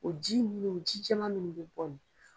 O ji munnu ji jɛman munnu bɛ bɔ.